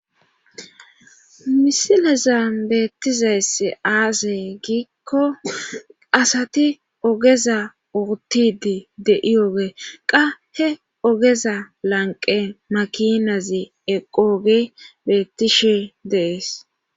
misileza beettizaess aase giikko asati ogeza ortidi dei oge qahe ogeza lanqe makinazi eqooge beettishe dees